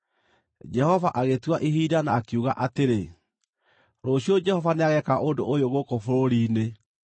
Jehova agĩtua ihinda, na akiuga atĩrĩ, “Rũciũ Jehova nĩageeka ũndũ ũyũ gũkũ bũrũri-inĩ.”